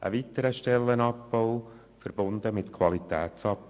Ein weiterer Stellenabbau, verbunden mit Qualitätsabbau?